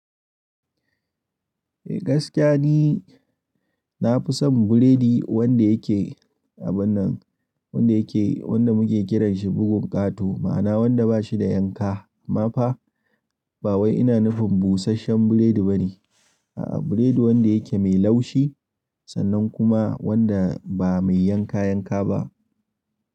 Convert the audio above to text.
Eh gaskiya ne, na fi son burodi wanda yake abun nan, wanda muke kiranshi bugun ƙato, ma'ana wanda ba shi da yanka. Amma fa ba wai ina nufin busasshen burodi ba ne. A'a, burodi wanda yake mai laushi sannan kuma wanda ba mai yanka-yanka ba.